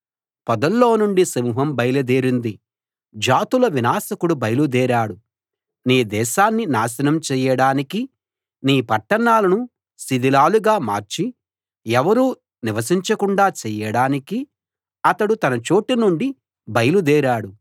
పొదల్లో నుండి సింహం బయలుదేరింది జాతుల వినాశకుడు బయలు దేరాడు నీ దేశాన్ని నాశనం చేయడానికి నీ పట్టణాలను శిథిలాలుగా మార్చి ఎవరూ నివసించకుండా చేయడానికి అతడు తన చోటు నుండి బయలు దేరాడు